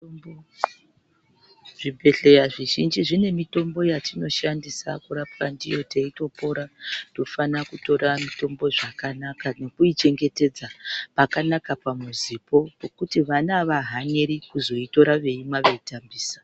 Zvibhedhleya zvizhinji zvine mitombo yatinoshandisa kurapwa ndiyo teitopora, tinofana kutora mitombo zvakanaka nekuichengetedza pakanaka pamuzipo pekuti vana avahaniri kuzoitora veimwa, veitambisa.